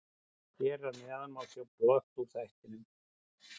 Hér að neðan má sjá brot úr þættinum.